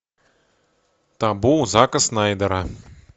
табу зака снайдера